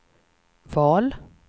val